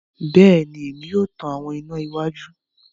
Bẹẹni, Èmí o tan àwọn iná iwájú